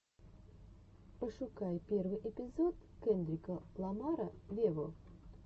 пошукай первый эпизод кендрика ламара вево